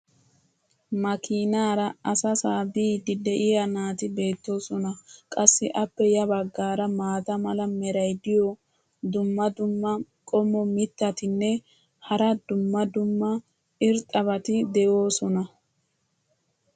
makiinaara asasaa biidi diya naati beetoosona. qassi appe ya bagaara maata mala meray diyo dumma dumma qommo mitattinne hara dumma dumma irxxabati de'oosona.